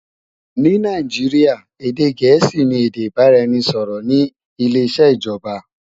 Ní Nàìjíríà, èdè gẹ̀ẹ́sì ni èdè ìbáraẹnisọ̀rọ̀ ní ileṣẹ́ ìjọba